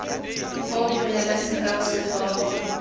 foo go neela sekao setlhogo